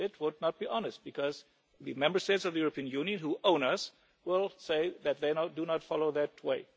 This would not be honest, because the Member States of the European Union who own us will say that they do not follow that